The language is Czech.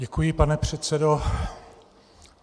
Děkuji, pane předsedo.